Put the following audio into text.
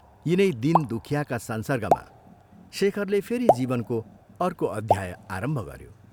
यिनै दीन, दुखियाका संसर्गमा शेखरले फेरि जीवनको अर्को अध्याय आरम्भ गऱ्यो।